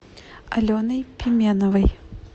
аленой пименовой